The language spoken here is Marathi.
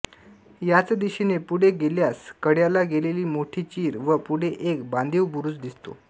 याच दिशेने पुढे गेल्यास कड्याला गेलेली मोठी चीर व पुढे एक बांधीव बुरूज दिसतो